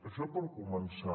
això per començar